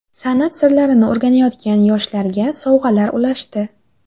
San’at sirlarini o‘rganayotgan yoshlarga sovg‘alar ulashdi.